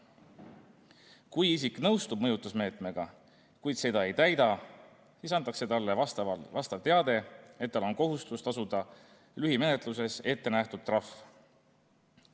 Kui isik nõustub mõjutusmeetmega, kuid seda ei täida, siis antakse talle vastav teade, et tal on kohustus tasuda lühimenetluses ettenähtud trahv.